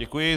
Děkuji.